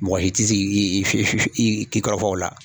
Mɔgɔ si tɛ si ki i kɔrɔ fɔ o la.